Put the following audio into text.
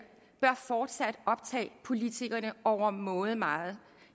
bør fortsat optage politikerne overmåde meget